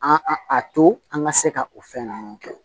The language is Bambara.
An a to an ka se ka o fɛn ninnu kɛ